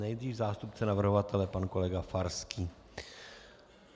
Nejdřív zástupce navrhovatele pan kolega Farský.